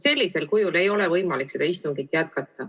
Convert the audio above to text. Sellisel moel ei ole võimalik seda istungit jätkata.